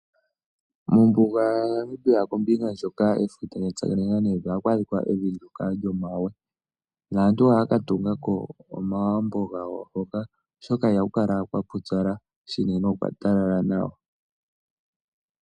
Mombuga yaNamibia kombinga ndyoka efuta lyatsakanena nevi ohaku adhika evi ndyoka lyomawe naantu ohaya ka tungako omagumbo gawo hoka oshoka ihaku kala kwapupyala shinene okwatalala nawa.